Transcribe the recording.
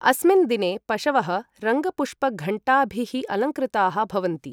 अस्मिन् दिने पशवः रङ्गपुष्पघण्टाभिः अलङ्कृताः भवन्ति।